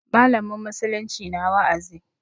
Mallamin musulunci na wa'azi.